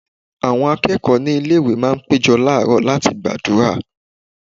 Àwọn akẹ́kọ̀ọ́ ilé-ìwé máa ń péjọ làárọ̀ láti gbàdúrà.